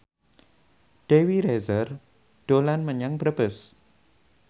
Dewi Rezer dolan menyang Brebes